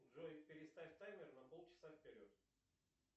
джой переставь таймер на полчаса вперед